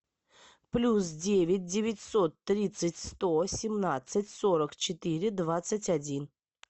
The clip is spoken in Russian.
плюс девять девятьсот тридцать сто семнадцать сорок четыре двадцать один